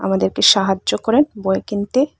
আমাদেরকে সাহায্য করেন বই কিনতে।